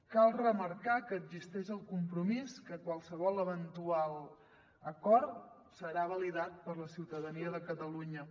cal remarcar que existeix el compromís que qualsevol eventual acord serà validat per la ciutadania de catalunya